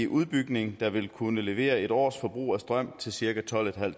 udbygning der vil kunne levere en års forbrug af strøm til cirka tolvtusinde